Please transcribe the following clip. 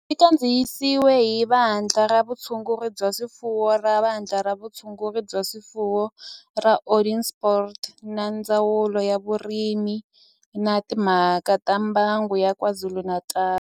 Xi kandziyisiwe hi Vandla ra Vutshunguri bya swifuwo ra Vandla ra Vutshunguri bya swifuwo ra Onderstepoort na Ndzawulo ya Vurimi na Timhaka ta Mbango ya KwaZulu-Natal